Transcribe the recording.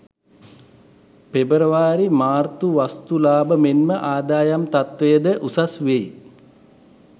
පෙබරවාරි මාර්තු වස්තු ලාබ මෙන්ම ආදායම් තත්ත්වය ද උසස් වෙයි.